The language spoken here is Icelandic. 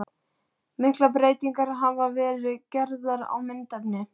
Miklar breytingar hafa verið gerðar á myndefni.